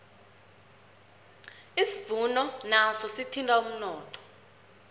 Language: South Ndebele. isivuno naso sithinta umnotho